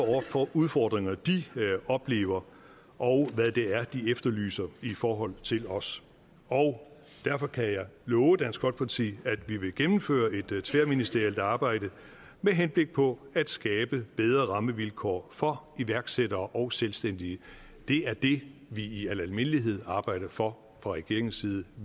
er for udfordringer de oplever og hvad det er de efterlyser i forhold til os derfor kan jeg love dansk folkeparti at vi vil gennemføre et tværministerielt arbejde med henblik på at skabe bedre rammevilkår for iværksættere og selvstændige det er det vi i al almindelighed arbejder for fra regeringens siden